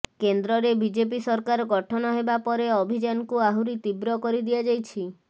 କେନ୍ଦ୍ରରେ ବିଜେପି ସରକାର ଗଠନ ହେବା ପରେ ଅଭିଯାନକୁ ଆହୁରି ତୀବ୍ର କରି ଦିଆଯାଇଛି